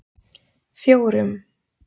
fjórum